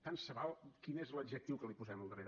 tant se val quin és l’adjectiu que li posem al darrere